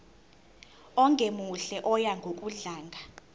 ongemuhle oya ngokudlanga